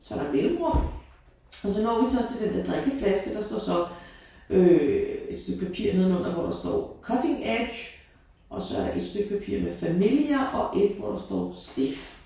Så er der mellemrum og så når vi også til den der drikkeflaske der står så øh et stykke papir nedenunder hvor der står cutting edge og så et stykke papir med familiar og et hvor der står stiff